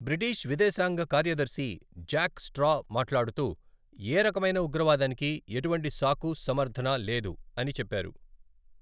British విదేశాంగ కార్యదర్శి Jack Straw మాట్లాడుతూ 'ఏ రకమైన ఉగ్రవాదానికి ఎటువంటి సాకు, సమర్థన లేదు' అని చెప్పారు.